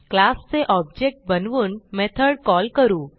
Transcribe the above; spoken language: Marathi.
क्लासचे ऑब्जेक्ट बनवून मेथड कॉल करू